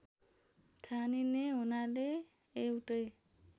ठानिने हुनाले एउटै